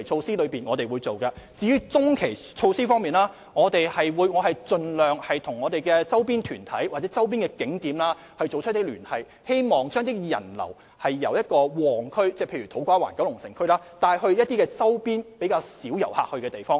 至於中期措施，我們會盡量與周邊團體或周邊景點聯繫，希望將人流由旺區，例如土瓜灣和九龍城，帶到周邊較少遊客前往的地方。